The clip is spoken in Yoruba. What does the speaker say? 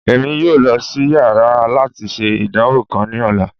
Emi yoo lọ si yàrá lati ṣe idanwo kan ni ọla